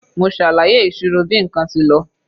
Mo ṣàlàyé ìṣirò bí nǹkan tí lọ.